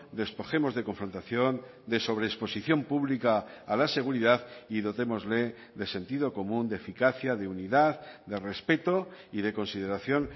despojemos de confrontación de sobreexposición pública a la seguridad y dotémosle de sentido común de eficacia de unidad de respeto y de consideración